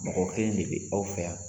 Mɔgɔ kelen de be aw fɛ yan